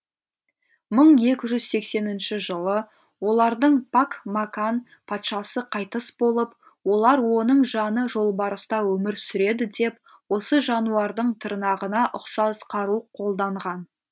мың екі жүз сексенінші жылы олардың пак макан патшасы қайтыс болып олар оның жаны жолбарыста өмір сүреді деп осы жануардың тырнағына ұқсас қару қолданған